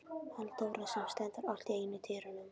Halldóra sem stendur allt í einu í dyrunum.